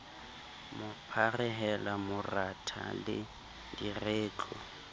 mo pharehela moratha le diretlo